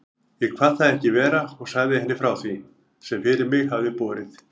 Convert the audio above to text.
Ég kvað það ekki vera og sagði henni frá því, sem fyrir mig hafði borið.